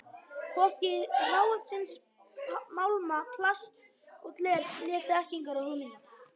Hvorki hráefnis málma, plasts og glers né þekkingar og hugmynda.